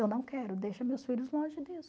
Eu não quero, deixa meus filhos longe disso.